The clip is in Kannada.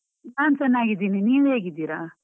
ನಾನ್ ಚೆನ್ನಾಗಿದ್ದೀನಿ, ನೀವ್ ಹೇಗಿದ್ದೀರ?